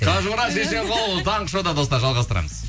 қажымұрат шешенқұл таңғы шоуда достар жалғастырамыз